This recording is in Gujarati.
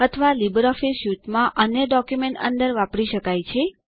અથવા લીબરઓફીસ સ્યુટમાં અન્ય ડોક્યુમેન્ટ અંદર વાપરી શકાય છે